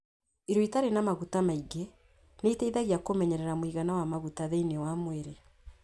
Irio itarĩ na maguta maingĩ nĩ iteithagia kũmenyerera mũigana wa maguta thĩinĩ wa mwĩrĩ.